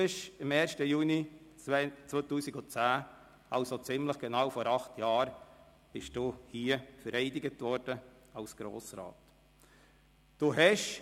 Am 1. Juni 2010, also ziemlich genau vor acht Jahren, wurden Sie hier als Grossrat vereidigt.